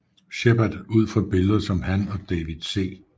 Sheppard ud fra billeder som han og David C